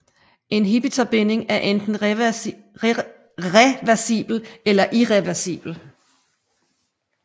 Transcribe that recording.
Inhibitorbinding er enten reversibel eller irreversibel